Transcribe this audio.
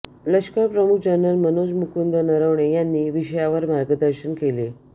लष्करप्रमुख जनरल मनोज मुकुंद नरवणे यांनी विषयावर मार्गदर्शन केले